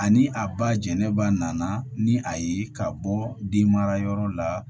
Ani a ba jɛnɛba nana ni a ye ka bɔ den marayɔrɔ la